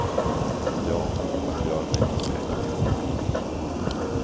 Ja, vart gör mig till pekpinne.